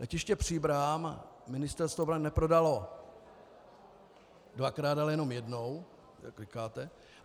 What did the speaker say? Letiště Příbram Ministerstvo obrany neprodalo dvakrát, ale jenom jednou, jak říkáte.